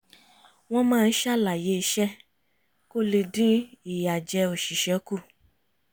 wọ́n máa ń ṣàlàyé iṣẹ́ kó le dín ìyàjẹ́ oṣìṣẹ́ kù